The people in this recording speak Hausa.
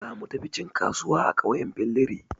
Za mu tafi cin kasuwa a ƙauyen Billiri.